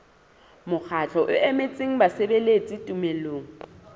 mokgatlo o emetseng basebeletsi tumellanong